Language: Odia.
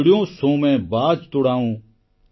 ଚିଡ଼ିୟୋଁ ସୋଁ ମେଁ ବାଜ୍ ତୁଡ଼ାଉଁ